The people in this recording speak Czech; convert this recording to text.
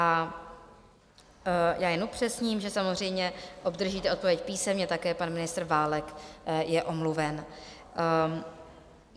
A já jen upřesním, že samozřejmě obdržíte odpověď písemně, také pan ministr Válek je omluven.